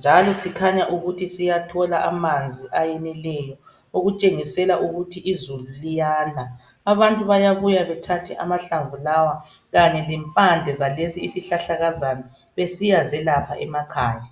njalo sikhanya ukuthi siyathola amanzi ayeneleyo okutshengisela ukuthi izulu liyana. Abantu bayabuya bethathe amahlamvu lawa kanye lempande zalesi isihlahlakazana besiya zelapha emakhaya